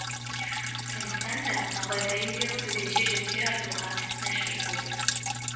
сондықтан да абай поэзияға төтенше жүктер артуға мәжбүр болды